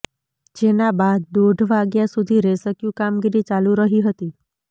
જેના બાદ દોઢ વાગ્યા સુધી રેસ્ક્યૂ કામગીરી ચાલુ રહી હતી